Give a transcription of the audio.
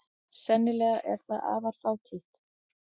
Sennilega er það afar fátítt.